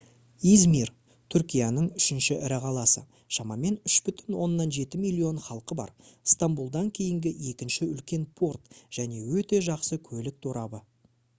измир түркияның үшінші ірі қаласы шамамен 3,7 миллион халқы бар стамбулдан кейінгі екінші үлкен порт және өте жақсы көлік торабы